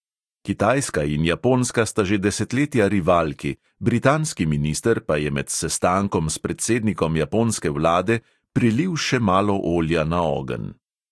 Kitajska in japonska sta že desetletja rivalki, britanski minister pa je med sestankom s predsednikom japonske vlade "prilil še malo olja na ogenj".